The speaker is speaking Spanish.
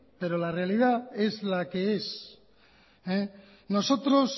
pero la realidad es la que es nosotros